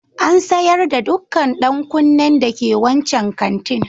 An sayar da dukkan dan kunnen dake wancan kantin.